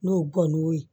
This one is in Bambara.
N'o gɔniw